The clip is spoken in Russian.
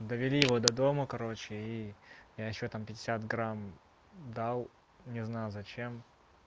довели его до дома короче и я ещё там пятьдесят грамм дал не знал зачем